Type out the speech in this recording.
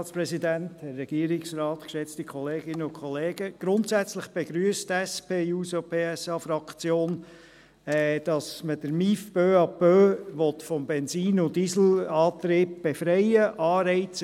Grundsätzlich begrüsst die SP-JUSO-PSA-Fraktion, dass man den Motorisierten Individualverkehr (MIV) peu à peu vom Benzin- und Dieselantrieb befreien will.